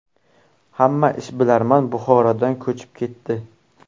Hamma ishbilarmon Buxorodan ko‘chib ketdi.